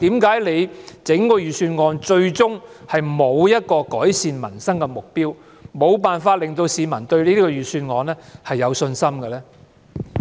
為何整份預算案最終並沒有提出一個改善民生的目標，以致無法令市民對這份預算案有信心呢？